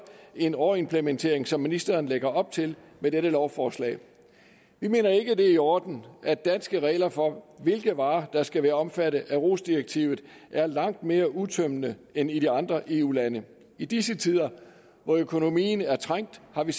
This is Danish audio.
en overimplementering som ministeren lægger op til med dette lovforslag vi mener ikke at det er i orden at danske regler for hvilke varer der skal være omfattet af rohs direktivet er langt mere udtømmende end i de andre eu lande i disse tider hvor økonomien er trængt har vi